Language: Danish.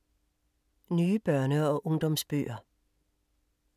Nye børne- og ungdomsbøger